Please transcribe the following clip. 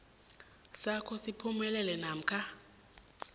sakho siphumelele namkha